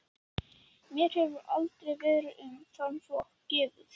Mér hefur aldrei verið um þann flokk gefið.